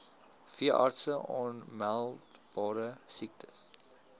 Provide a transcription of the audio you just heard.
veeartse aanmeldbare siektes